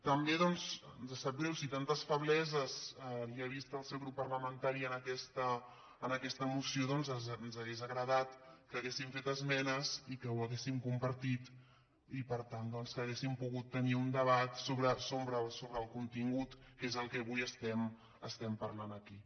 també doncs ens sap greu si tantes febleses li ha vist el seu grup parlamentari a aquesta moció doncs ens hauria agradat que haguessin fet esmenes i que ho ha·guéssim compartit i per tant doncs que haguéssim pogut tenir un debat sobre el contingut que és el que avui estem parlant aquí